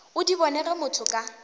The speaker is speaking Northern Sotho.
o di bonego motho ka